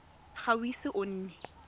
ga o ise o nne